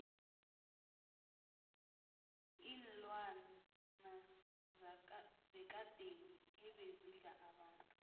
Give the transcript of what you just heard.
iinlwana zekadeni ebezidla abantu